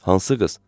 Hansı qız?